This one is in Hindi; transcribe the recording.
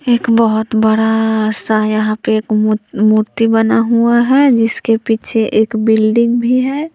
एक बहोत बड़ा सा यहां पे एक मु मूर्ति बना हुआ है जिसके पीछे एक बिल्डिंग भी है।